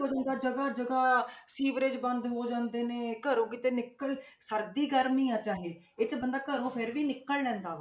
ਜਗ੍ਹਾ ਜਗ੍ਹਾ ਸੀਵਰੇਜ਼ ਬੰਦੇ ਹੋ ਜਾਂਦੇ ਨੇ, ਘਰੋਂ ਕਿਤੇ ਨਿਕਲ, ਸਰਦੀ ਗਰਮੀ ਆਂ ਚਾਹੇ ਇਹ 'ਚ ਬੰਦਾ ਘਰੋਂ ਫਿਰ ਵੀ ਨਿਕਲ ਲੈਂਦਾ।